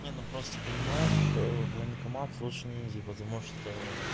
ну ну просто понимаешь в военкомат лучше не иди потому что